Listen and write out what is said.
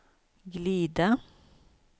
glida